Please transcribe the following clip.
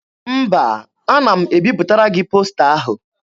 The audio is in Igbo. Mba, ana m ebipụtara gị posta ahụ.